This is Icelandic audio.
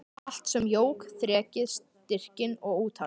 Allt sem jók þrekið, styrkinn og úthaldið.